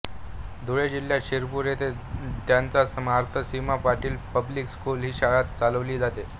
धुळे जिल्ह्यातील शिरपूर येथे त्यांच्या स्मरणार्थ स्मिता पाटील पब्लिक स्कुल ही शाळा चालवली जाते